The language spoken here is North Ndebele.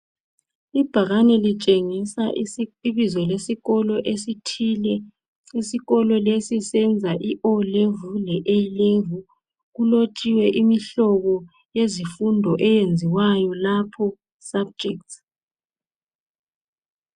Ibhakane litshengisa ibizo lesikolo esithile isikolo lesi senza iO'level le A'level kulotshiwe imihlobo yezifundo eyenziwayo lapho subjects.